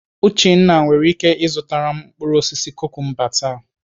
Uchenna nwere ike ịzụtara m mkpụrụ osisi kukumba taa.